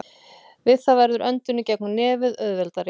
Við það verður öndun í gegnum nefið auðveldari.